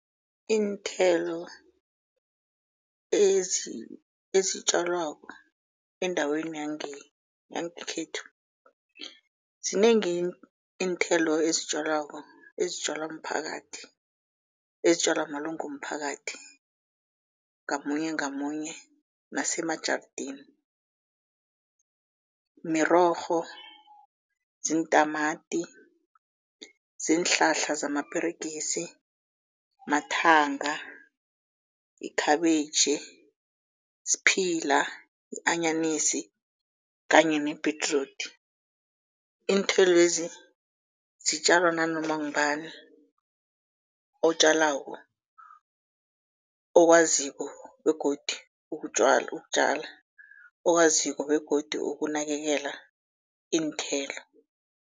Iinthelo ezitjalwako endaweni yangekhethu zinengi iinthelo ezitjalwako ezitjalwa mphakathi, ezitjalwa malunga womphakathi ngamunye, ngamunye nemajarideni. Mirorho, ziintamati, ziinhlahla samaperegisi, mathanga, ikhabitjhi, sphila, i-anyanisi kanye nebhedrudi. Iinthelo lezi zitjalwa nanoma ngubani otjalako okwaziko begodi ukutjala okwaziko begodu ukunakekela iinthelo.